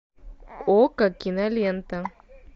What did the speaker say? окко кинолента